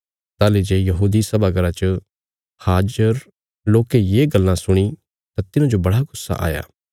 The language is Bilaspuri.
ताहली जे यहूदी सभा घर च हाजर लोकें ये गल्लां सुणी तां तिन्हाजो बड़ा गुस्सा आया